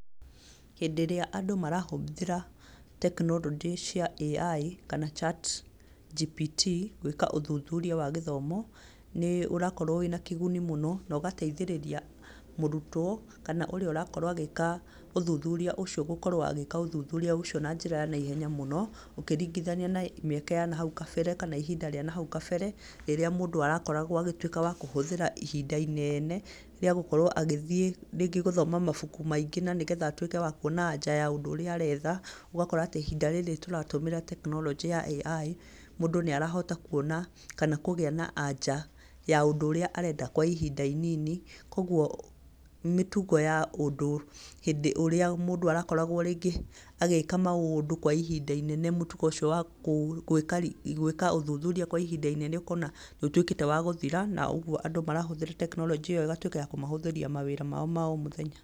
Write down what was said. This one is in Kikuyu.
Hĩndĩ ĩria andũ marahũthĩra tekinoronjĩ cia AI, kana ChatGPT gwĩka ũthuthuria wa gĩthomo, nĩ ũrakorwo wĩ na kĩguni mũno na ũgateithĩrĩria mũrutwo, kana ũrĩa ũrakorwo agĩka ũthuthuria ũcio, gũkorwo agĩka ũthuthuria ũcio na njĩra ya naihenya mũno, ũkĩringithania na mĩaka ya na hau kabere, kana ihinda rĩa na hau kabere, rĩrĩa mũndũ arokargwo agĩtuĩka wa kũhũthĩra ihinda inene rĩa gũkorwo agĩthiĩ rĩngĩ gũthoma mabauku maingĩ na nĩgetha atuĩke wa kuona anja ya ũndũ ũrĩa aretha. Ũgakora atĩ ihinda rĩrĩ tũratũmĩra tekinoronjĩ ya AI, mũndũ nĩ arahota kuona, kana kũgĩa na anja ya ũndũ ũrĩa arendakwa ihinda inini. Koguo mĩtugo ya ũndũ hĩndĩ ĩrĩa rĩngĩ mũndũ arakoragwo agĩika maũndũ kwa ihinda inene, mũtugo ũcio wa gwĩka ũthuthuria kwa ihinda inene ũkona nĩ ũtuĩkĩte wa gũthira, na ũguo andũ marahũthĩra tekinoronjĩ ĩyo ĩgatuĩka ya kũmahũthĩria maũndũ mao ma o mũthenya.